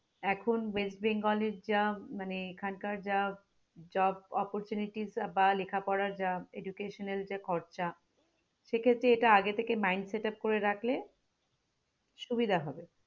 এখন ওয়েস্ট বেঙ্গলের যা মানে এখানকার যা job opportunities বা লেখাপড়া যা educational যে খরচা সেক্ষেত্রে এটা আগে থেকে mind setup করে রাখলে সুবিধা হবে